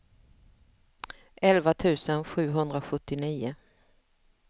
elva tusen sjuhundrasjuttionio